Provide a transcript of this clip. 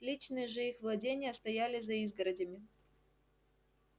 личные же их владения стояли за изгородями